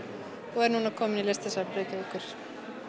og er núna komin á Listasafn Reykjavíkur